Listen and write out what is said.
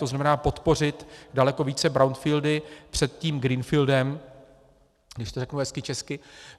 To znamená podpořit daleko více brownfieldy před tím greenfieldem, když to řeknu hezky česky.